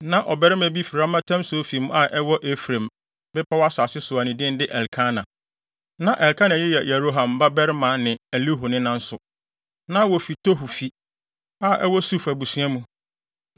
Na ɔbarima bi fi Ramataim-Sofim a ɛwɔ Efraim bepɔw asase so a ne din de Elkana. Na Elkana yi yɛ Yeroham babarima ne Elihu nena nso. Na wofi Tohu fi, a ɛwɔ Suf abusua mu.